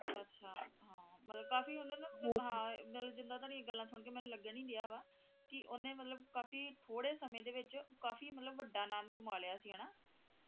ਅੱਛਾ ਹਾਂ ਮਤਲਬ ਕਾਫੀ ਉਨ੍ਹਾਂ ਦਾ ਹਾਂ ਜਿੱਦਾਂ ਤੁਹਾਡੀ ਗੱਲਾਂ ਸੁਨ ਕੇ ਮੈਨੂੰ ਲੱਗਣ ਹੀ ਡਿਆ ਵਾ ਕਿ ਉਹਨੇਂ ਮਤਲਬ ਕਾਫੀ ਥੋੜੇ ਸਮੇਂ ਦੇ ਵਿੱਚ ਕਾਫੀ ਮਤਲਬ ਵੱਢਾ ਨਾਮ ਕਮਾ ਲਿਆ ਸੀ ਹੈ ਨਾ ਹਾਂ ਹਾਂ